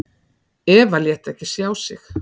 Eva lét ekki sjá sig